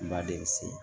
Ba de bi se